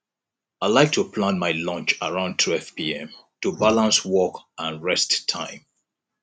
i like to plan my lunch around 12pm to balance work and rest time